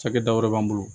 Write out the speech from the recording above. Cakɛda wɛrɛ b'an bolo